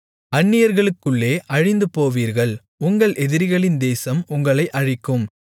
அன்னியர்களுக்குள்ளே அழிந்துபோவீர்கள் உங்கள் எதிரிகளின் தேசம் உங்களை அழிக்கும்